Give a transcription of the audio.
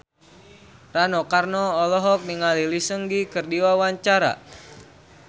Rano Karno olohok ningali Lee Seung Gi keur diwawancara